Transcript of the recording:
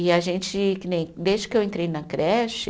E a gente que nem, desde que eu entrei na creche